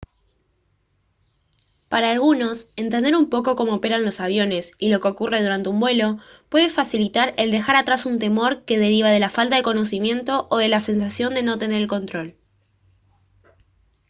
para algunos entender un poco cómo operan los aviones y lo que ocurre durante un vuelo puede facilitar el dejar atrás un temor que deriva de la falta de conocimiento o de la sensación de no tener el control